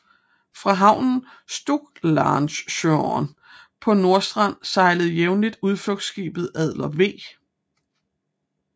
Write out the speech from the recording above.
Fra havnen Strucklahnungshörn på Nordstrand sejler jævnligt udflugtskibet Adler V